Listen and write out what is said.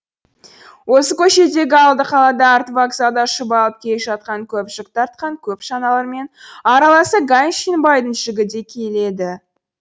осы көшедегі алды қалада арты вокзалда шұбалып келе жатқан көп жүк тартқан көп шаналармен араласа ганшин байдың жүгі де келеді